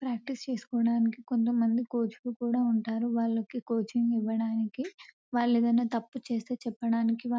practice చేసుకోవడానికి కొంతమంది coach లు కూడా ఉంటారు వాళ్లకి కోచింగ్ ఇవ్వడానికి వాళ్లు ఏదైనా తప్పు చేస్తే చెప్పడానికి --